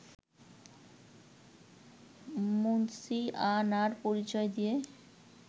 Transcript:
মুন্সিয়ানার পরিচয় দিয়ে